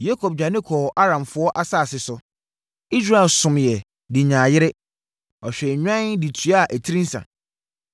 Yakob dwane kɔɔ Aramfoɔ asase so; Israel someeɛ de nyaa yere, ɔhwɛɛ nnwan de tua etiri nsa.